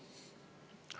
Teie aeg!